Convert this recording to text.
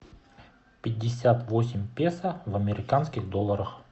пятьдесят восемь песо в американских долларах